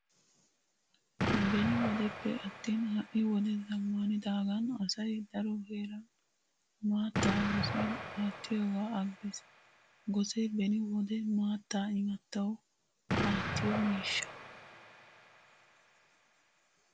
Beni wodeppe attin ha"i wode zammaanidaagan asay daro heeran maattaa gosiyan aattiyogaa aggiis. Gosee beni wode maattaa imattawu aattiyo miishsha.